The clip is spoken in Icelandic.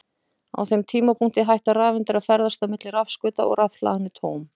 Á þeim tímapunkti hætta rafeindir að ferðast á milli rafskauta og rafhlaðan er tóm.